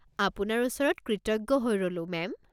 আপোনাৰ ওচৰত কৃতজ্ঞ হৈ ৰ'লো, মেম!